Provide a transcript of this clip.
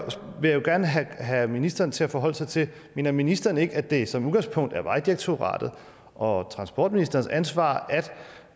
vil jeg gerne have ministeren til at forholde sig til det mener ministeren ikke at det som udgangspunkt er vejdirektoratet og transportministerens ansvar at